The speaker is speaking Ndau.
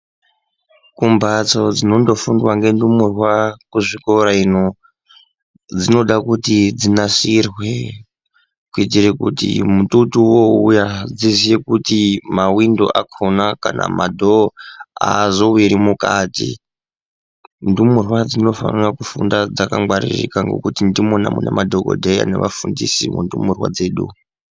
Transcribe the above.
Kumbatso dzinondofundwa ngendumurwa kuchikora ino dzinoda kuti dzinasirwe kuitire kuti mututu wouya dziziye kuti mawindo akhona kana madhoo azowiri mukati. Ndumurwa dzinofanira kufunda dzakangwaririka ngekuti ndimona mune madhokodheya nevafundisi mundumurwa dzedu.